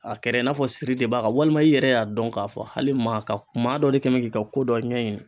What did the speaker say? A kɛrɛ i n'a fɔ siri de b'a kan walima i yɛrɛ y'a dɔn k'a fɔ hali maa ka maa dɔ de kɛn bɛ k'i ka ko dɔ ɲɛɲini